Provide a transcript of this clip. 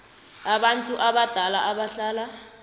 abantu abadala abahlala